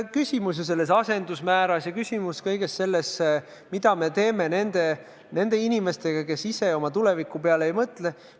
Küsimus on asendusmääras ja kõiges selles, mida me teeme nende inimestega, kes ise oma tuleviku peale ei mõtle.